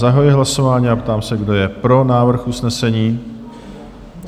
Zahajuji hlasování a ptám se, kdo je pro návrh usnesení?